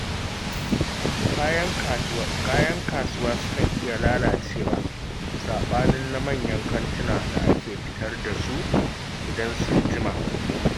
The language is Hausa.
Kayan kasuwa sukan iya lalacewa, saɓanin na manyan kantuna da ake fitar da su idan sun jima